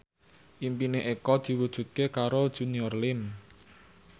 impine Eko diwujudke karo Junior Liem